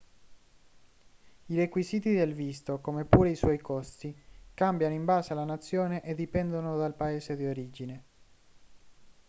i requisiti del visto come pure i suoi costi cambiano in base alla nazione e dipendono dal paese di origine